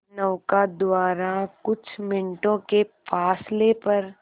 नौका द्वारा कुछ मिनटों के फासले पर